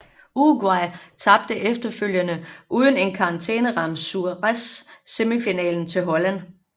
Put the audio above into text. Uruguay tabte efterfølgende uden en karantæneramt Suárez semifinalen til Holland